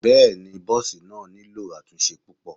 Bẹ́ẹ̀ni bọ́ọ̀sì náà nílò àtúnṣe púpọ̀.